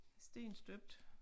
Stenstøbt